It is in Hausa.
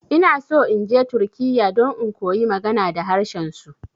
Inaso inje turkiya don in koyi magana da harshen su.